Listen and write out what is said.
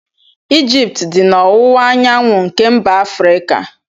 Egypt dị na ọwụwaanyanwụ nke mba Afrika.